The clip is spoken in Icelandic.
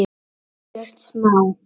Ekkert smá.